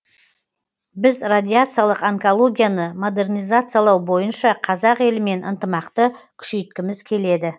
біз радиациялық онкологияны модернизациялау бойынша қазақ елімен ынтымақты күшейткіміз келеді